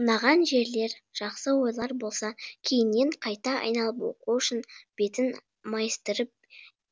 ұнаған жерлер жақсы ойлар болса кейіннен қайта айналып оқу үшін бетін майыстырып